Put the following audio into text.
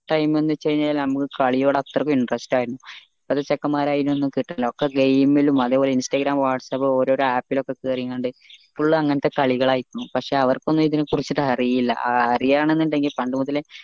time ന്ന് വെച്ച കഴിഞ്ഞാൽ നമ്മക് കളിയോട് അത്രക്ക് interest ആയിരുന്നു ഇപ്പോത്തെ ചെക്കന്മാരെ അയിന് ഒന്നും കിട്ടാനില്ല ഒകെ game ലും അതെ പോലെ instagram whatsapp ഓരോ app ൽ ഒകെ കേറിങ്ങാണ്ട് full അങ്ങനത്തെ കളികൾ ആയിരിക്കുണു പക്ഷെ അവർക്കൊന്നും ഇതിനെ കുറിച്ച് അറീല അറിയാനെന്നുണ്ടെങ്കിൽ പണ്ട് മുതലേ